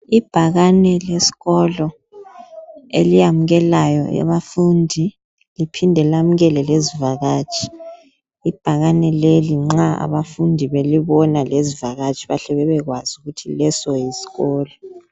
Ibhakane lesikolo eliyamukelayo abafundi liphinde lamukele lezivakatshi. ibhakane leli nxa abafundi belibona lezivakatshi bahle bebekwazi ukuthi leso yisikolo.